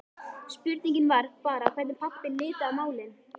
Spurningin var bara hvernig pabbi liti á málin.